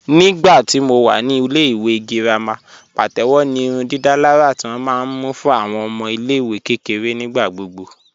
Nígbàtí mó wà ní ilẹ̀-ìwé gíràmà pàtẹwò ní ìrùndìdàlàrà tí wọn ma mú fún awọn ọmọ ilẹ̀-ìwé kẹkẹ̀rẹ̀ nígbàgbọ̀